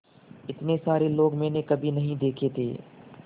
इतने सारे लोग मैंने कभी नहीं देखे थे